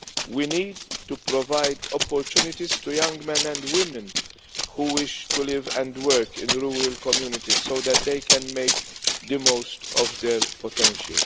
farms. We need to provide opportunities to young men and women who wish to live and work in rural communities, so that they can make the most of their potential.